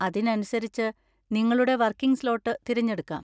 അതിനനുസരിച്ച് നിങ്ങളുടെ working slot തിരഞ്ഞെടുക്കാം.